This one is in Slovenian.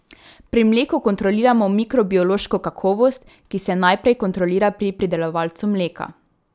Pri mleku kontroliramo mikrobiološko kakovost, ki se najprej kontrolira pri pridelovalcu mleka.